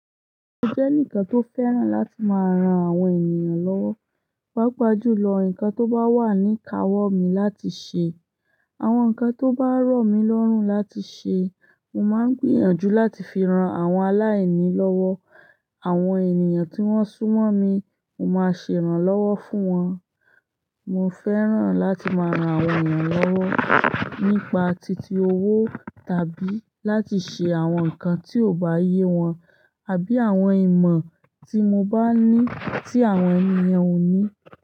Mo jẹ́ eǹikan tó fẹ́ràn láti máa ran àwọn ènìyàn lọ́wọ́. Pàapà júlọ ǹkan tó bá wà ní káwọ́ mi láti ṣe, àwọn ǹkan tó bá rọ̀ mi lọ́rùn láti ṣe, mo máa ń gbìyànjú láti fi ran àwọn aláìní lọ́wọ́. Àwọn ènìyàn tí wọ́n súnmọ́ mi, mo máa ń ṣe ìrànlọ́wọ́ fún wọn. Mo fẹ́ràn láti máa ran àwọn ènìyàn lọ́wọ́ nípa titi owó tàbí láti ṣe àwọn nǹkan tí ò bá yé wọn àbí àwọn ìmọ̀ tí mo bá ní tí àwọn ènìyàn ò ní.